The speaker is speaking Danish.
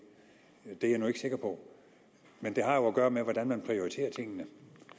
det er jeg nu ikke sikker på men det har jo at gøre med hvordan man prioriterer tingene